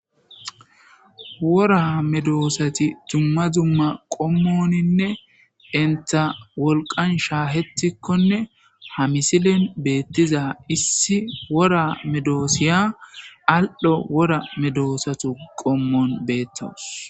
wora medoosati dzumma dzumma qommoninne enta wolqan shaahetikkonne ha misilen beettiza issi wora medoosiya al7ho wora medoosatu qommon beettawus